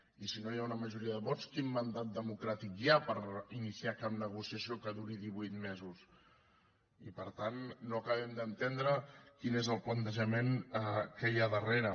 i si no hi ha una majoria de vots quin mandat democràtic hi ha per iniciar cap negociació que duri divuit mesos i per tant no acabem d’entendre quin és el plantejament que hi ha darrere